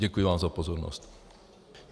Děkuji vám za pozornost.